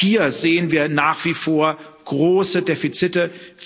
Auch hier sehen wir nach wie vor große Defizite.